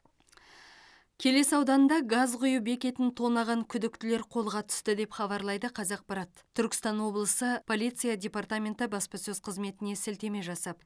келес ауданында газ құю бекетін тонаған күдіктілер қолға түсті деп хабарлайды қазақпарат түркістан облысы полиция департаменті баспасөз қызметіне сілтеме жасап